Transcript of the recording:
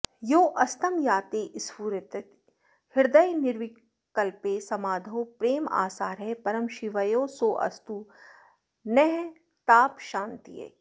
योऽस्तं याते स्फुरति हृदये निर्विकल्पे समाधौ प्रेमासारः परमशिवयोः सोऽस्तु नस्तापशान्त्यै